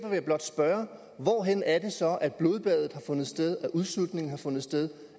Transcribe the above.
jeg blot spørge hvorhenne er det så at blodbadet har fundet sted at udsultningen har fundet sted